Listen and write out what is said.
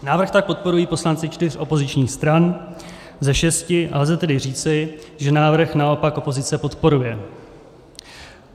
Návrh tak podporují poslanci čtyř opozičních stran ze šesti, a lze tedy říci, že návrh naopak opozice podporuje.